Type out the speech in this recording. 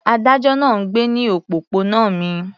Adájọ́ náà ń gbé ní òpópónà mi.